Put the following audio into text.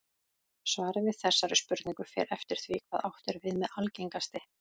Svarið við þessari spurningu fer eftir því hvað átt er við með algengasti.